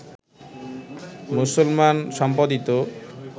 মুসলমান সম্পাদিত